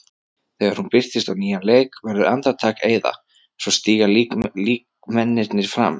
Þegar hún birtist á nýjan leik verður andartak eyða, svo stíga líkmennirnir fram.